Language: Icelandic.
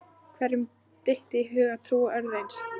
Hverjum dytti í hug að trúa öðru eins?